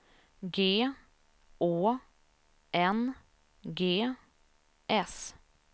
G Å N G S